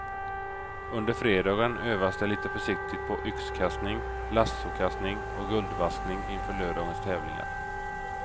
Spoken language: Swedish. Under fredagen övas det lite försiktigt på yxkastning, lassokastning och guldvaskning inför lördagens tävlingar.